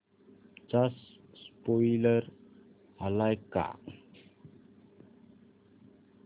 चा स्पोईलर आलाय का